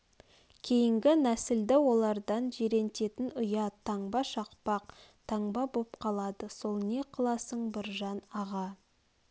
кейнгі нәслді олардан жирентетн ұят таңба шақпақ таңба боп қалады сол не қыласың біржан аға